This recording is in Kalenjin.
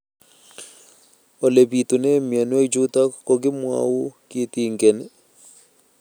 Ole pitune mionwek chutok ko kimwau kitig'�n